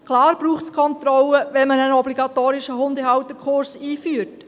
Klar braucht es Kontrollen, wenn man einen obligatorischen Hundehalterkurs einführt.